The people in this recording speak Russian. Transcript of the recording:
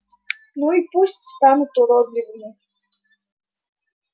ну и пусть станут уродливыми